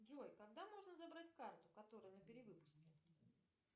джой когда можно забрать карту которая на перевыпуске